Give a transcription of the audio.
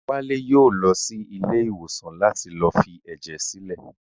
Wálé yóò lọ sí ilé ìwòsàn láti lọ fi ẹ̀jẹ̀ sílẹ̀